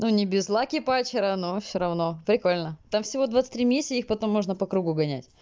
ну не без лаки патчера но всё равно прикольно там всего двадцать три миссии их потом можно по кругу гонять